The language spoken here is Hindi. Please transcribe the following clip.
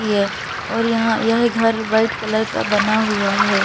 य और यहां यह घर वाइट कलर का बना हुआ है।